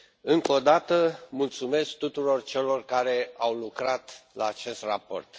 Încă o dată, mulțumesc tuturor celor care au lucrat la acest raport.